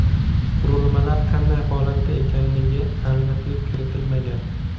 Qurilmalar qanday holatda ekanligiga aniqlik kiritilmagan.